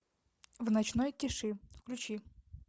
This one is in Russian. в ночной тиши включи